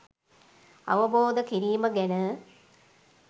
අවබෝධ කිරීම ගැන